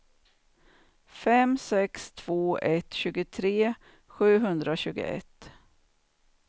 fem sex två ett tjugotre sjuhundratjugoett